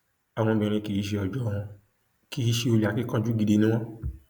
àwọn obìnrin kì í ṣe ọjọ wọn kì í ṣe olè akínkanjú gidi ni wọn